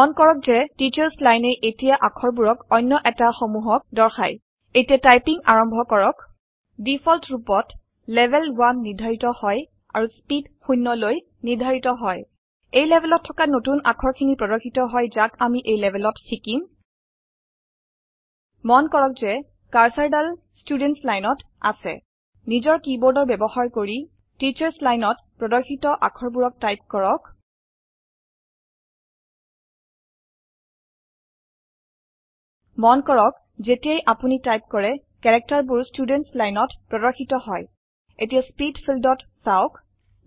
মন কৰক যে টিচ্চাৰ্চ লাইনে এতিয়া আখৰবুৰক অনয় এটা সমুহক দৰ্শায় এতিয়া টাইপিঙ আৰম্ভ কৰক দিফল্ট ৰুপত লেভেল 1 নিৰ্ধাৰিত হয় আৰু স্পীড শূণয় লৈ নিৰ্ধাৰিত হয় এই লেভেলত থকা নতুন আখৰ খিনি প্ৰৰ্দশিত হয় যাক আমি এই লেভেলত শিকিম মন কৰক যে কাৰ্চাৰ ডাল স্তুদেন্তচ লাইনত আচে নিজৰ কিবৰ্দৰ বয়ৱহাৰ কৰি টিচ্চাৰ্চ লাইনত প্ৰৰ্দশিত আখৰবুৰক টাইপ কৰক মন কৰক জেতিয়াই আপুনি টাইপ কৰে কেৰেক্টাৰ বুৰ স্তূদেনট্চ লাইনত প্ৰদৰ্শিত হয় এতিয়া স্পীদ ফীল্দত চাওক